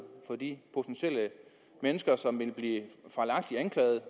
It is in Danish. for de mennesker som potentielt ville blive fejlagtigt anklaget